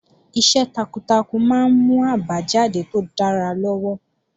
Iṣẹ́ takuntakun máa ń mú àbájáde tó dára lọ́wọ́